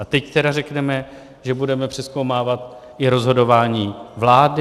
A teď tedy řekneme, že budeme přezkoumávat i rozhodování vlády?